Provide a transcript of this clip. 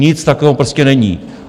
Nic takového prostě není.